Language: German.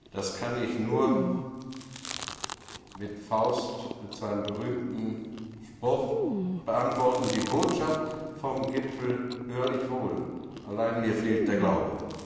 Das kann ich nur mit Faust und seinem berühmten Spruch beantworten Die Botschaft vom Gipfel hör ich wohl, allein, mir fehlt der Glaube.